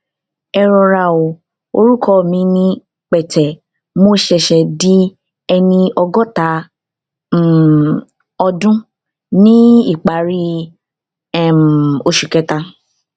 erora o orúkọ mi ni pete mo ṣèṣè di ẹni ọgọta um ọdún ní ìparí um oṣù kẹta